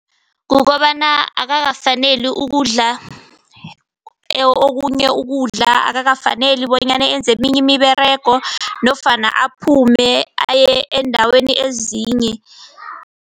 Kukobana akakafaneli ukudla okunye ukudla. Akakafaneli bonyana enze eminye imiberego nofana aphume aye eendaweni ezinye.